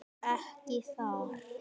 Ekki þar.